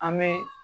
An bɛ